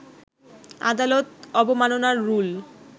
আদালত অবমাননার রুল